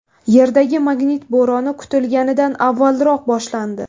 Yerdagi magnit bo‘roni kutilganidan avvalroq boshlandi.